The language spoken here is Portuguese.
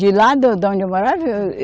De lá, da onde eu morava? Eu